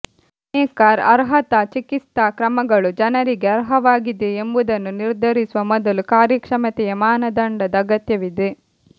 ಅನೇಕ ಅರ್ಹತಾ ಚಿಕಿತ್ಸಾ ಕ್ರಮಗಳು ಜನರಿಗೆ ಅರ್ಹವಾಗಿದೆಯೇ ಎಂಬುದನ್ನು ನಿರ್ಧರಿಸುವ ಮೊದಲು ಕಾರ್ಯಕ್ಷಮತೆಯ ಮಾನದಂಡದ ಅಗತ್ಯವಿದೆ